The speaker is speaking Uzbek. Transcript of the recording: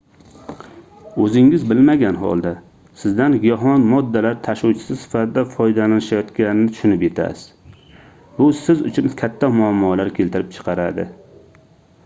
oʻzingiz bilmagan holda sizdan giyohvand moddalar tashuvchisi sifatida foydalanishayotganini tushunib yetasiz bu siz uchun katta muammolar keltirib chiqaradi